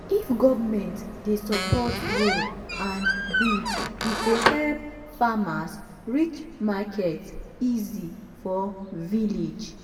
if government dey support road and bridge e go help farmers reach market easy for village.